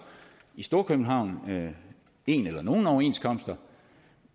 i storkøbenhavn en eller nogle overenskomster